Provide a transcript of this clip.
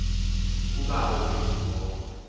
kubawo wethu wo